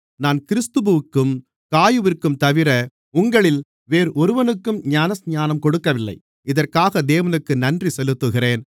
நான் கிறிஸ்புவிற்கும் காயுவிற்கும்தவிர உங்களில் வேறொருவனுக்கும் ஞானஸ்நானம் கொடுக்கவில்லை இதற்காக தேவனுக்கு நன்றி செலுத்துகிறேன்